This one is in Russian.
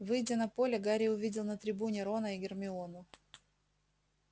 выйдя на поле гарри увидел на трибуне рона и гермиону